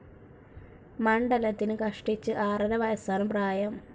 മണ്ഡലത്തിന് കഷ്ടിച്ചു ആറര വയസ്സാണ് പ്രായം.